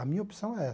A minha opção é